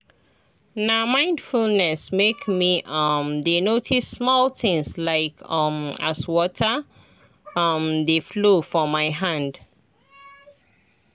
na mindfulness make me um dey notice small things like um as water um dey flow for my hand.